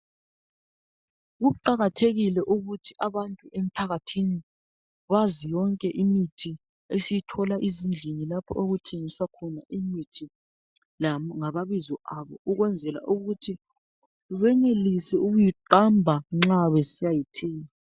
Kuqakathekile ukuthi abantu emphakathini bazi yonke imithi esiyithola ezindlini lapho okuthengiswa khona imithi ngamabizo ayo ukwenzela ukuthi benelise ukuyiqamba nxa besiyayithenga.